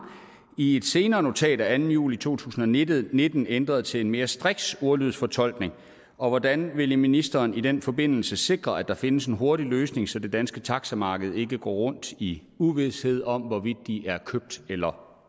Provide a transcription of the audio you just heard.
i et senere notat af anden juli to tusind og nitten nitten ændrede til en mere striks ordlydsfortolkning og hvordan vil ministeren i den forbindelse sikre at der findes en hurtig løsning så det danske taximarked ikke går rundt i uvished om hvorvidt de er købt eller